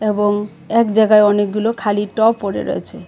এবং এক জায়গায় অনেকগুলো খালি টব পড়ে রয়েছে .